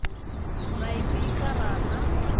ra i bika ra ḽa